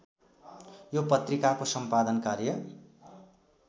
यो पत्रिकाको सम्पादन कार्य